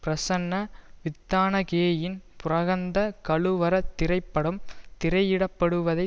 பிரசன்ன வித்தானகேயின் புரஹந்த கலுவர திரைப்படம் திரையிட படுவதை